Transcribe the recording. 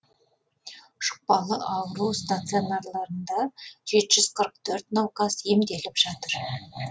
жұқпалы ауру стационарларында жеті жүз қырық төрт науқас емделіп жатыр